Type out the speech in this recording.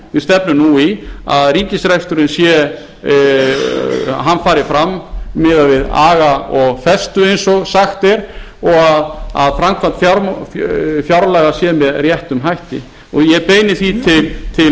við stefnum nú í að ríkisreksturinn fari fram miðað við aga og festu eins og sagt er og að framkvæmd fjárlaga sé með réttum hætti ég beini því til